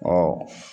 Ɔ